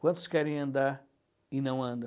Quantos querem andar e não andam?